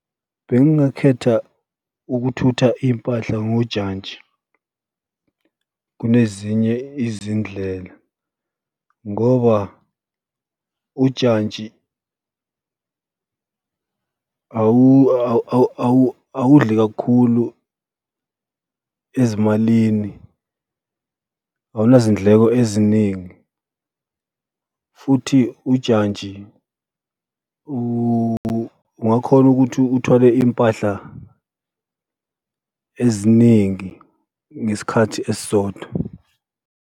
Bengingakhetha ukuthutha iy'mpahla ngojantshi kunezinye izindlela ngoba ujantshi awudli kakhulu ezimalini, awunazindleko eziningi, futhi ujantshi ungakhona ukuthi uthwale iy'mpahla eziningi ngesikhathi esisodwa.